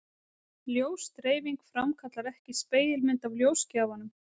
Ljósdreifing framkallar ekki spegilmynd af ljósgjafanum.